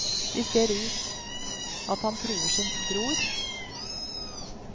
De ser at han truer sin bror.